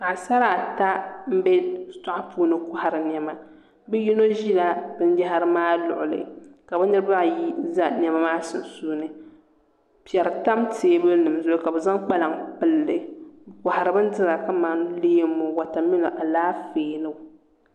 Paɣasara ata n bɛ shitoɣu puuni kohari niɛma bi yino ʒila binyahari maa luɣuli ka bi niraba ayi ʒɛ niɛma maa sunsuuni piɛri tam teebuli nim zuɣu ka bi zaŋ kpalaŋ pilli bi kohari bindira kamani leemu ni Alaafee nima